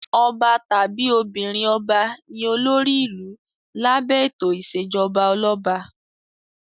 Ọba tàbí obìnrin-ọba ni olórí ìlú lábẹ́ ètò ìṣèjọba ọlọ́ba.